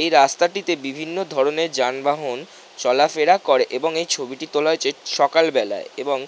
এই রাস্তাটিতে বিভিন্ন ধরণের যানবাহন চলাফেরা করে. এবং এই ছবিটি তোলা হয়েছে সকালবেলায়। এবং--